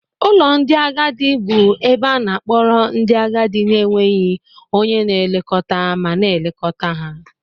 Ụlọ ndị agadi bụ ebe a na-akpọrọ ndị agadi na-enweghị onye na-elekọta ma na-elekọta.